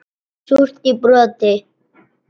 Súrt í broti.